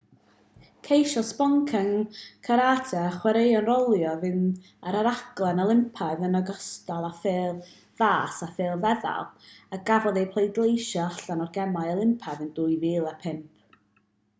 ceisiodd sboncen carate a chwaraeon rholio fynd ar y rhaglen olympaidd yn ogystal â phêl-fas a phêl-feddal a gafodd eu pleidleisio allan o'r gemau olympaidd yn 2005